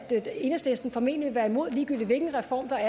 enhedslisten formentlig vil være imod ligegyldigt hvilken reform der